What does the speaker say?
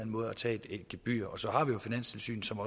måde at tage et gebyr og så har vi jo finanstilsynet som